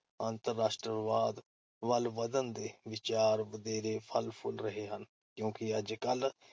ਅੰਤਰ-ਰਾਸ਼ਟਰਵਾਦ ਵਲ ਵਧਣ ਦੇ ਵਿਚਾਰ ਵਧੇਰੇ ਫਲ ਫੁੱਲ ਰਹੇ ਹਨ ਕਿਉਂਕਿ ਅੱਜ-ਕਲ੍ਹ